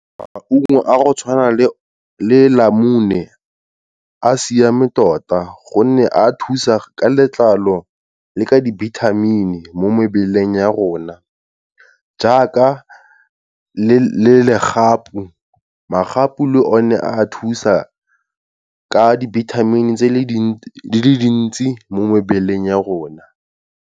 Maungo a go tshwana le namune a siame tota gonne a thusa ka letlalo le ka dibithamini mo mebeleng ya rona, jaaka le legapu, magapu le one a thusa a dibithamini di le dintsi mo mebeleng ya rona.